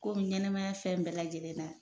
Komi ɲɛnɛmaya fɛn bɛɛ lajɛlen na